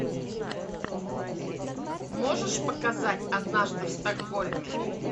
можешь показать однажды в стокгольме